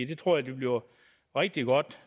det tror jeg bliver rigtig godt